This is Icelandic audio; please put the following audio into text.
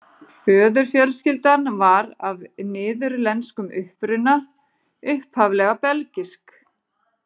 Föðurfjölskyldan var af niðurlenskum uppruna, upphaflega belgísk.